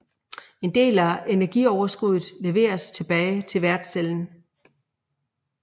En del af energioverskuddet leveredes tilbage til værtscellen